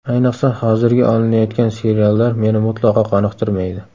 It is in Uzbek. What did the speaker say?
Ayniqsa, hozirgi olinayotgan seriallar meni mutlaqo qoniqtirmaydi.